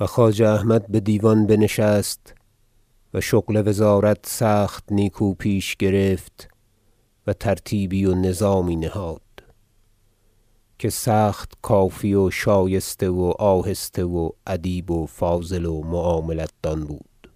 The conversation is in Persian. و خواجه احمد بدیوان بنشست و شغل وزارت سخت نیکو پیش گرفت و ترتیبی و نظامی نهاد که سخت کافی و شایسته و آهسته و ادیب و فاضل و معاملت دان بود